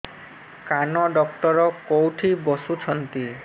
କାନ ଡକ୍ଟର କୋଉଠି ବସୁଛନ୍ତି